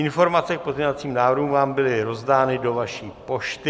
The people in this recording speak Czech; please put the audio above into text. Informace k pozměňovacím návrhům vám byly rozdány do vaší pošty.